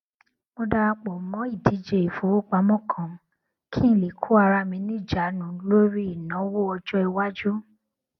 mo dara pò mó ìdíje ìfowópamọ kan kí n lè kó ara mi ní ìjánu lórí ìnáwó ọjọìwájú